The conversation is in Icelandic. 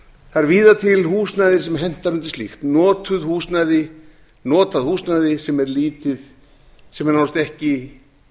er víða til húsnæði sem hentar undir slíkt notað húsnæði sem er nánast ekki